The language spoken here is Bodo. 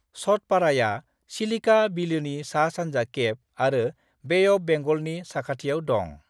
सतपाड़ाया चिलिका बिलोनि सा-सानजा केप आरो बे अफ बेंगलनि साखाथियाव दं।